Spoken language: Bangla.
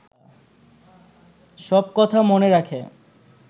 সব কথা মনে রাখে